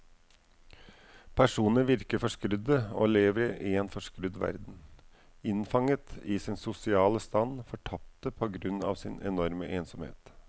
Personene virker forskrudde og lever i en forskrudd verden, innfanget i sin sosiale stand, fortapte på grunn av sin enorme ensomhet.